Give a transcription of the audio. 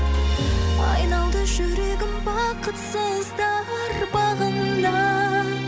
айналды жүрегім бақытсыздар бағында